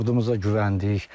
Ordumuza güvəndik.